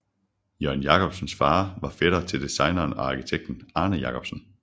Jørgen Jacobsens fader var fætter til designeren og arkitekten Arne Jacobsen